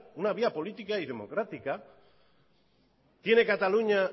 una vía política y democrática tiene cataluña